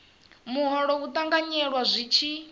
muholo u ṱanganyelwa zwi tshi